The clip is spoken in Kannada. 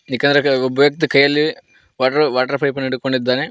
ಒಬ್ಬ ವ್ಯಕ್ತಿ ಕೈಯಲ್ಲಿ ವಾಟರ್ ವಾಟರ್ ಪೈಪ ನ್ನು ಹಿಡಕೊಂಡಿದ್ದಾನೆ.